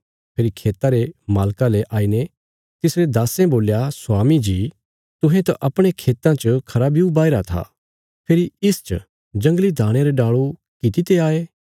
फेरी खेता रे मालका ले आईने तिसरे दास्सें बोल्या स्वामी जी तुहें त अपणे खेतां च खरा ब्यू बाहीरा था फेरी इसच जंगली दाणयां रे डाल़ू कित्ते आये